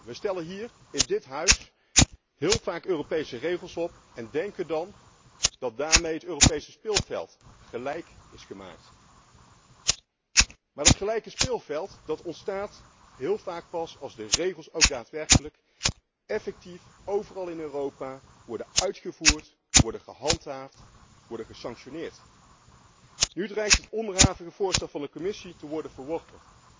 We stellen hier in dit Huis heel vaak Europese regels op en denken dan dat daarmee het Europese speelveld gelijk is gemaakt. Maar dat gelijke speelveld ontstaat heel vaak pas als de regels ook daadwerkelijk effectief overal in Europa worden uitgevoerd, worden gehandhaafd, worden gesanctioneerd. Nu dreigt het onderhavige voorstel van de Commissie te worden verworpen.